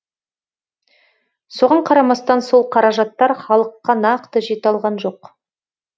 соған қарамастан сол қаражаттар халыққа нақты жете алған жоқ